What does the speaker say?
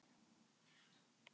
Meðalheimi